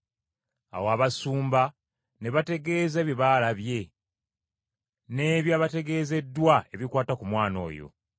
Awo abasumba ne bategeeza bye baalabye, n’ebya bategeezeddwa ebikwata ku mwana oyo.